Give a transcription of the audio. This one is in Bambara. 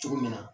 Cogo min na